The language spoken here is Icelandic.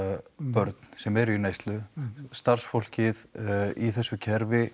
börn sem eru í neyslu starfsfólkið í þessu kerfi